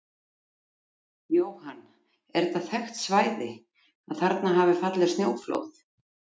Jóhann: Er þetta þekkt svæði, að þarna hafa fallið snjóflóð?